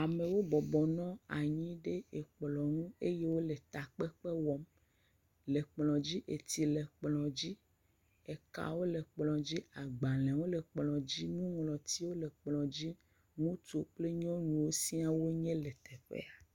Amewo bɔbɔ nɔ anyi ɖe ekplɔ ŋu eye wole takpekpe wɔm, le kplɔ dzi, etsi le kplɔ dzi, ekawo le kplɔ dzi, agbalẽwo le kplɔ dzi, nuŋlɔtiwo le kplɔ dzi, ŋutsu kple nyɔnuwo siaa wonye le teƒe sia.